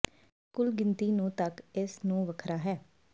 ਇਹ ਕੁੱਲ ਗਿਣਤੀ ਨੂੰ ਤੱਕ ਇਸ ਨੂੰ ਵੱਖਰਾ ਹੈ